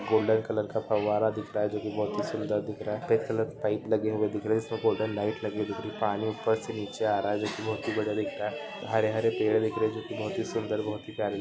golden colour का फव्वारा दिख रहा है जो की बहुत ही सुंदर दिख रहा है सफ़ेद कलर के पाइप लगे हुए दिख रहे है ईस पे गोल्डन लाइट लगे दिख रहे है पानी ऊपर से नीचे आ रहा है जो की बढ़िया दिख रहा है हरे हरे पेड़ दिख रहे है जो की बहुत ही सुंदर बहुत की प्यारे--